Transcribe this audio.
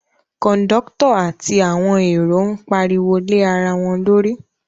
Kọ̀ndọ́tọ̀ àti àwọn èrò ń pariwo lé ara wọn lórí